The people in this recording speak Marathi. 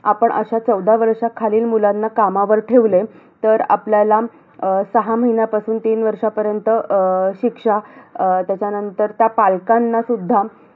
आपण अशा चौदा वर्षाखालील मुलांना कामावर ठेवले, तर आपल्याला अं सहा महिन्यांपासून तीन वर्षांपर्यंत अं शिक्षा. अं त्याच्यानंतर, त्या पालकांनासुद्धा